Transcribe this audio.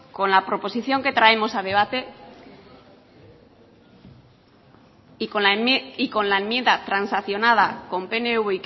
con la proposición que traemos a debate y con la enmienda transaccionada con pnv